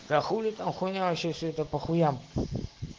да хули там хуйня вообще все это по хуям